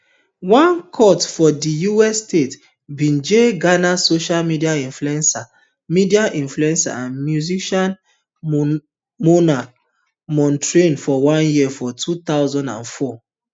one court for di united states bin jail ghanaian social media influencer media influencer and musician mona montrage for one year for two thousand and twenty-four